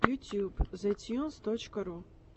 ютьюб зэтьюнс точка ру